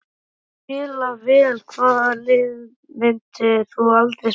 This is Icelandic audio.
Spila vel Hvaða liði myndir þú aldrei spila með?